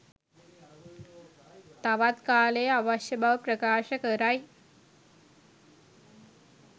තවත් කාලය අවශ්‍ය බව ප්‍රකාශ කරයි